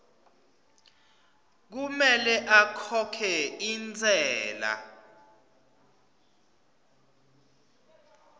kumele akhokhe intsela